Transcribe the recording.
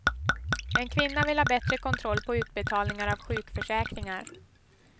En kvinna vill ha bättre kontroll på utbetalningar av sjukförsäkringar.